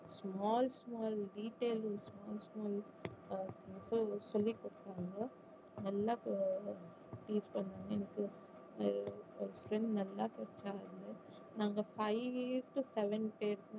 small small detail small small அஹ் அது சொல்லி கொடுப்பாங்க நல்ல நாங்க